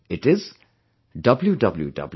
It is www